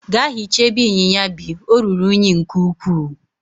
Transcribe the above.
Gaa hichaa ebe inyinya bi, ọ ruru unyi nke ukwuu!